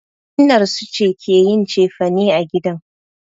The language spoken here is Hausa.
Innar su ce ke yin cefane a gidan.